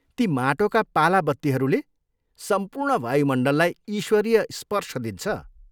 ती माटोका पाला बत्तीहरूले सम्पूर्ण वायुमण्डललाई ईश्वरीय स्पर्श दिन्छ।